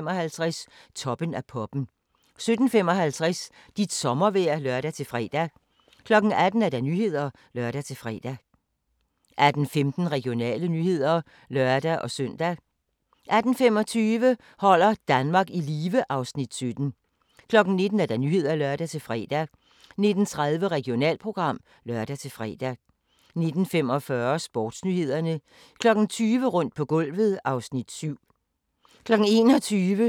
18:15: Regionale nyheder (lør-søn) 18:25: Holder Danmark i live (Afs. 17) 19:00: Nyhederne (lør-fre) 19:30: Regionalprogram (lør-fre) 19:45: Sportsnyhederne 20:00: Rundt på gulvet (Afs. 7) 21:00: The Host – Vandrende sjæle 23:10: Frækkere end politiet tillader II 00:55: Unfaithful 03:00: Væk på 60 sekunder